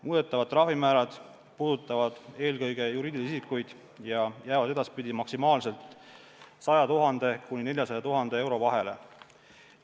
Muudetavad trahvimäärad puudutavad eelkõige juriidilisi isikuid ja jäävad edaspidi maksimaalselt 100 000 – 400 000 euro vahele.